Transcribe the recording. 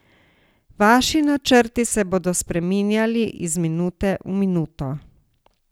Vaši načrti se bodo spreminjali iz minute v minuto.